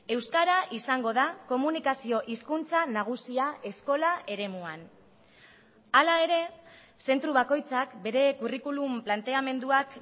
euskara izango da komunikazio hizkuntza nagusia eskola eremuan hala ere zentro bakoitzak bere kurrikulum planteamenduak